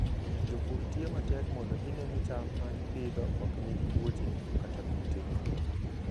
Jopur tiyo matek mondo gine ni cham ma gipidho ok nigi tuoche kata kute.